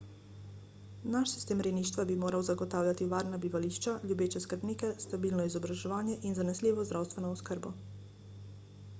naš sistem rejništva bi moral zagotavljati varna bivališča ljubeče skrbnike stabilno izobraževanje in zanesljivo zdravstveno oskrbo